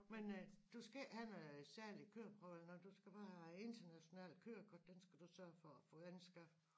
Men øh du skal ikke have noget særlig køreprøve eller noget du skal bare have internationalt kørekort den skal du sørge for at få anskaffet